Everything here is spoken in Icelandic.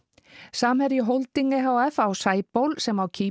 samherji Holding e h f á Sæból sem á